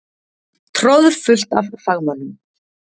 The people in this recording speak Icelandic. Troðfullt af fagmönnum.